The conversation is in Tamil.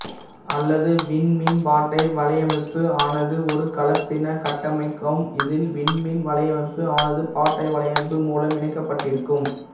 அல்லது விண்மீன்பாட்டை வலையமைப்பு ஆனது ஒரு கலப்பின கட்டமைப்பாகும் இதில் விண்மீன் வலையமைப்பு ஆனது பாட்டை வலையமைப்பு முலம் இணைக்கபட்டிருக்கும்